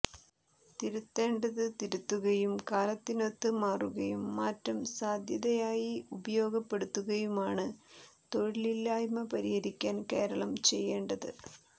തിരുത്തേണ്ടത് തിരുത്തുകയും കാലത്തിനൊത്ത് മാറുകയും മാറ്റം സാധ്യതയായി ഉപയോഗപ്പെടുത്തുകയുമാണ് തൊഴിലില്ലായ്മ പരിഹരിക്കാൻ കേരളം ചെയ്യേണ്ടത്